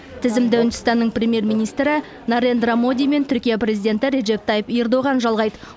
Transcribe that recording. тізімді үндістанның премьер министрі нарендра моди мен түркия президенті режеп тайып эрдоған жалғайды